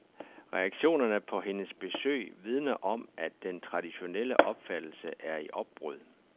Reaktionerne på hendes besøg vidner om, at den traditionelle opfattelse er i opbrud.